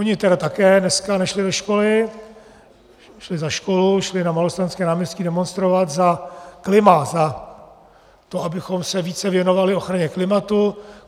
Oni tedy také dneska nešli do školy, šli za školu, šli na Malostranské náměstí demonstrovat za klima, za to, abychom se více věnovali ochraně klimatu.